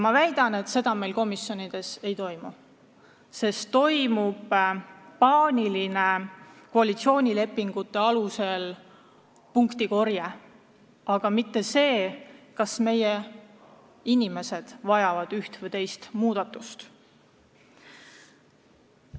Ma väidan, et seda kontrolli meil komisjonides ei toimu, sest toimub paaniline koalitsioonilepingu alusel punktide korjamine, mitte ei mõelda, kas meie inimesed vajavad üht või teist muudatust.